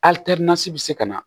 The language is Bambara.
bɛ se ka na